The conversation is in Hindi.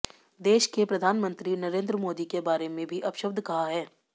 देश के प्रधानमंत्री नरेंद्र मोदी के बारे में भी अपशब्द कहा है